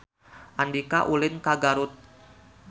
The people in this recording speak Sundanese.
Andika ulin ka Garut